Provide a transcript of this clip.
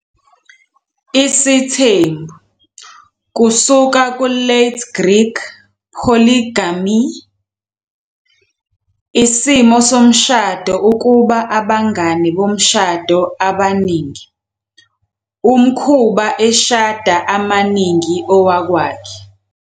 Isithembu, kusuka ku- Late Greek, "Polygamía," "isimo somshado ukuba abangane bomshado abaningi", umkhuba eshada amaningi owakwakhe.